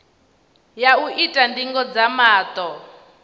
ya u ita ndingo dza maṱo